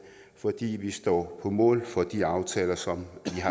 fordi vi står på mål for de aftaler som